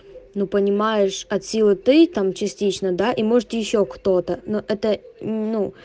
ну понимаешь от силы ты там частично да и может ещё кто-то но это ну